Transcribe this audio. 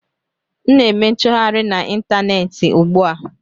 M na-eme nchọgharị na ịntaneetị ugbu a